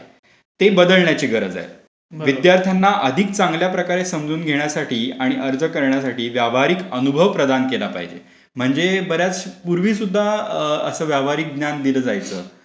ते बदलण्याची गरज आहे. विद्यार्थ्यांना अधिक चांगल्या प्रकारे समजून घेण्यासाठी आणि अर्ज करण्यासाठी व्यावहारिक अनुभव प्रदान केला पाहिजे. म्हणजे बर् याच पूर्वी सुद्धा असं व्यावहारिक ज्ञान दिलं जायचं.